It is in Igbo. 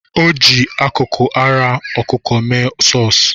Ọ ji akụkụ ara ọkụkụ mee sọs.